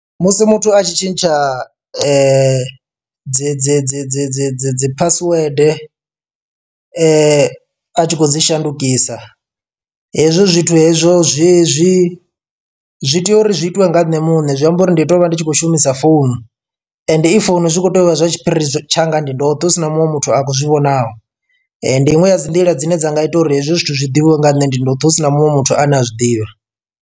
Musi muthu atshi tshintsha dzi dzi dzi dzi dzi dzi dzi password a tshi khou dzi shandukisa, hezwo zwithu hezwo zwi zwi zwi tea uri zwi itiwe nga nṋe muṋe zwi amba uri ndi to vha ndi tshi khou shumisa founund. Ee i founu zwi kho tea uvha zwa tshiphiri tshanga ndi ndoṱhe husina muṅwe muthu a khou zwi vhonaho, ndi iṅwe ya dzi nḓila dzine dzanga ita uri hezwi zwithu zwiḓivhiwe nga nne ndi ndoṱhe husina muṅwe muthu ane a zwiḓivha.